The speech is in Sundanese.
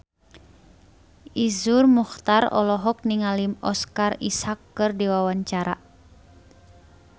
Iszur Muchtar olohok ningali Oscar Isaac keur diwawancara